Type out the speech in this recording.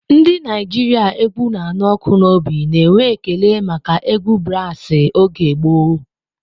Ndị Naijiria égwù na-anụ ọkụ n'obi na-enwe ekele maka egwu brasi oge gboo.